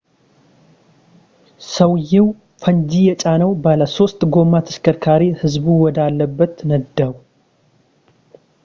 ሰውዬው ፈንጂ የጫነውን ባለሶስት ጎማ ተሽከርካሪ ሕዝቡ ወደ አለበት ነዳው